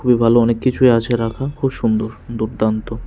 খুবই ভালো অনেক কিছুই আছে রাখা খুব সুন্দর দুর্দান্ত।